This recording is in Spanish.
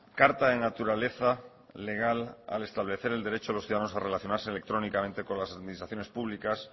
carta de naturaleza legal al establecer el derecho a los ciudadanos a relacionarse electrónicamente con las administraciones públicas